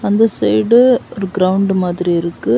சந்த்ர side ஒரு ground மாதிரி இருக்கு.